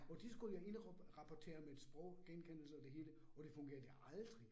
Og de skulle indrapportere med et sproggenkendelse og det hele, og det fungerede aldrig